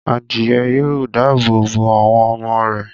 adìyẹ yóò dáàbò bo àwọn ọmọ rẹ̀